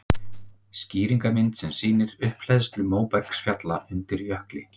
Skýringarmynd sem sýnir upphleðslu móbergsfjalla undir jökli.